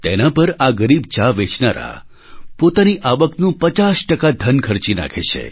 તેના પર આ ગરીબ ચા વેચનારા પોતાની આવકનું 50 ધન ખર્ચી નાખે છે